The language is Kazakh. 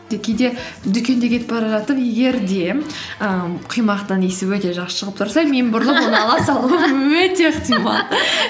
кейде дүкенде кетіп бара жатып егер де і құймақтан иісі өте жақсы шығып тұрса мен бұрылып оны ала салуға өте ықтимал